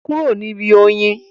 Kúrò níbi oyin?